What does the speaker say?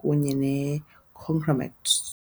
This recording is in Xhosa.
kunye nokuqina kwe-conglomerate.